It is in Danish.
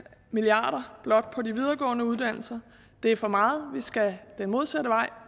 milliard kroner blot på de videregående uddannelser det er for meget vi skal den modsatte vej